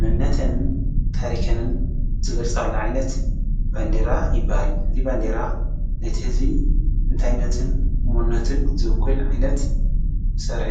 መንነትን ታሪኽን ዝገልፃሉ ዓይነት ባንዴራ ይበሃል ። እዚ ባንዴራ ነቲ ህዝቢ እንታይነቱን መንነቱን ዝዉክል ዓይነት ስራሕ እዩ ።